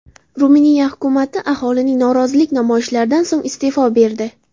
Ruminiya hukumati aholining norozilik namoyishlaridan so‘ng iste’fo berdi.